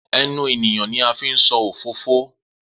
Enu eniyan ni a fi n so ofofo